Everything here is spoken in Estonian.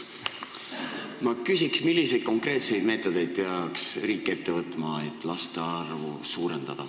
Ma küsin, milliseid konkreetseid meetodeid peaks riik ette võtma, et laste arvu suurendada.